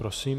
Prosím.